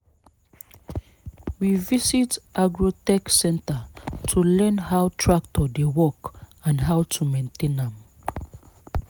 we visit agro tech centre to learn how tractor dey work and how to maintain am